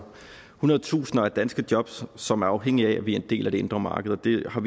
hundrede tusinder af danske jobs som er afhængige af at vi er en del af det indre marked vi vi har